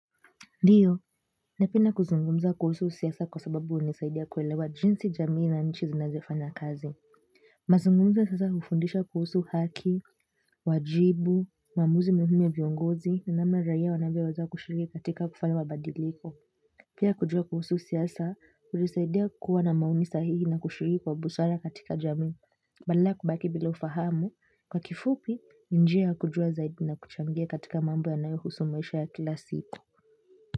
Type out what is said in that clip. Ndiyo, napenda kuzungumza kuhusu siasa kwa sababu hunisaidia kuelewa jinsi jamii na nchi zinazofanaya kazi. Mazungumzo sasa hufundisha kuhusu haki, wajibu, maamuzi muhimu ya viongozi, na namna raia wanavyoweza kushiriki katika kufanya mabadiliko. Pia kujua kuhusu siasa, hunisaidia kuwa na maoni sahihi na kushiriki kwa busara katika jamii, badala ya kubaki bila ufahamu. Kwa kifupi, ni njia ya kujua zaidi na kuchangia katika mambo yanayohusu maisha ya kila siku.